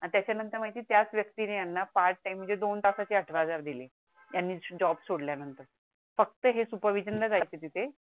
आताच्या नंतर माहिती त्याच व्यक्तीने यांना पार्ट टाइम मध्ये दोन तासाची आठ हजार दिले त्यांनी जॉब सोडल्यानंतर फक्त हे SUPERVISOR जायचे तिथे